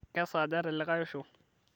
kesaaja telikae osho